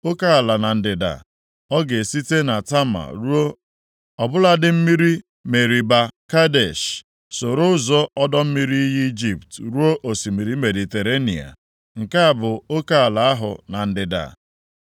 Oke ala na ndịda, ọ ga-esite na Tama ruo ọbụladị mmiri Meriba Kadesh, soro ụzọ ọdọ mmiri iyi Ijipt ruo osimiri Mediterenịa. Nke a bụ oke ala ahụ na ndịda.